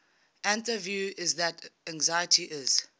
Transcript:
another view is that anxiety is